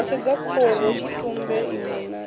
ho sedzwa khorotshitumbe iṋwe na